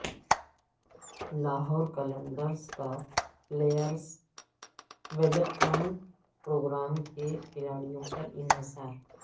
لاہور قلندرز کا players development programme کے کھلاڑیوں پر انحصار